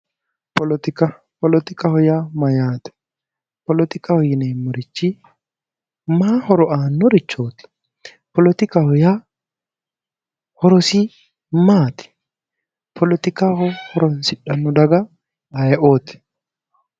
Poletika. Poletikaho yaa mayyaate? Poletikaho yineemmori mayi horo aannorichooti? Poletikaho yaa horosi maati? Poletika horoonsidhanno daga hiitteeti?